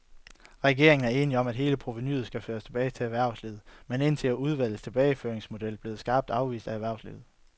Regeringen er enig om, at hele provenuet skal føres tilbage til erhvervslivet, men hidtil er udvalgets tilbageføringsmodeller blevet skarpt afvist af erhvervslivet.